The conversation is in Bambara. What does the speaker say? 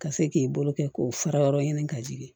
Ka se k'i bolo kɛ k'o fara yɔrɔ ɲini ka jigin